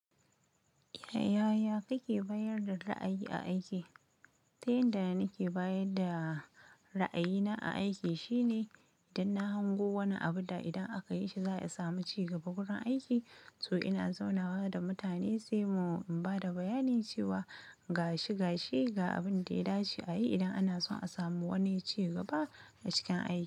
Yaya kake bayar da ra'ayi a aiki? Tai inda nake bayar da ra'ayina a aiki shine idan na hango wani abu da idan aka yi shi za a samu ci gaba wurin aiki, to ina zaunawa da mutane sai mu ba da bayani cewa gashi gashi ga abin da ya dace a yi idan ana son a samu wani ci gaba a cikin aiki.